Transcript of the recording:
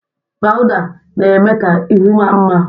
Pawụda na-eme ka ihu maa mma.